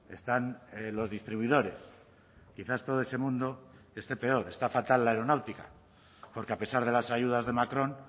están los distribuidores quizás todo ese mundo esté peor está fatal la aeronáutica porque a pesar de las ayudas de macron